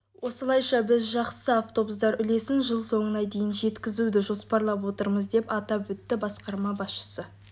осылайша біз жақсы автобустар үлесін жыл соңына дейін жеткізуді жоспарлап отырмыз деп атап өтті басқарма басшысы